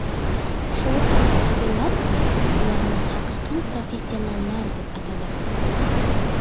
Shota Arveladze ularni haqiqiy professionallar deb atadi.